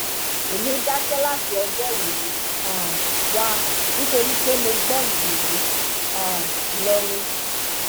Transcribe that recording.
èmi dákẹ láti ọjọ yìí um wá nítorí pé mo gbọn jù ú um lọ ni